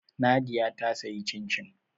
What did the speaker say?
Nadia ta sayi cin-cin